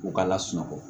U ka lasunɔgɔ